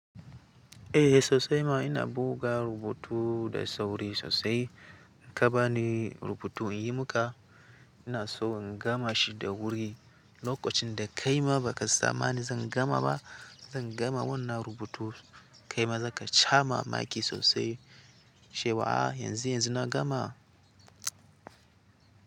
Eh sosai ma ina buga rubutu da sauri sosai. In ka bani rubutu in yi maka, ina so in gama shi da wuri. Lokacin da kaima ba ka tsammani zan gama ba, zan gama wannan rubutun kaima za ka sha mamaki sosai cewa ah, yanzu, yanzu na gama.